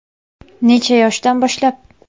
Necha yoshdan boshlab?